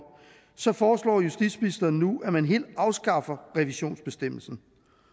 så foreslår justitsministeren nu at man helt afskaffer revisionsbestemmelsen